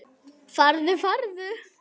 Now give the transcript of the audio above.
Farðu, farðu.